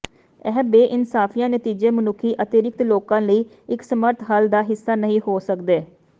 ਇਹ ਬੇਇਨਸਾਫੀਆਂ ਨਤੀਜੇ ਮਨੁੱਖੀ ਅਤਿਰਿਕਤ ਲੋਕਾਂ ਲਈ ਇੱਕ ਸਮਰੱਥ ਹੱਲ ਦਾ ਹਿੱਸਾ ਨਹੀਂ ਹੋ ਸਕਦੇ